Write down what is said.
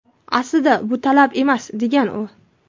Aslida, bu talab emas, degan u.